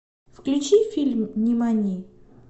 включи фильм нимани